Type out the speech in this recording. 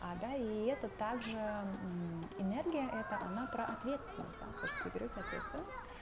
а да и это также ээ мм энергия это она про ответственность да потому что вы берете ответственность